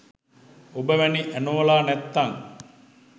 ඔබ වැනි ඇනෝලා නැත්තං